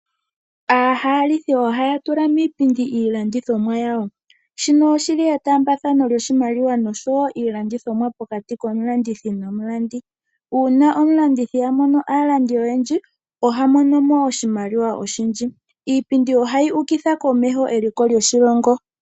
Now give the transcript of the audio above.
Aahalithi ohaya tula miipindi iilandithomwa yawo, shino oshili etambaathano lyoshimaliwa nosho wo iilandithomwa pokati komulandithi nomulandi. Uuna omulandithi amono aalandi oyendji oha monomo oshimaliwa oshindji. Iipindi ohayi ukitha komeho eliko lyoshilongo.